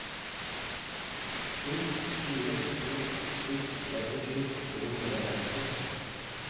sju fire to sju trettisju to hundre og seksti